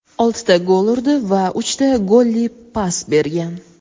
oltita gol urdi va uchta golli pas bergan.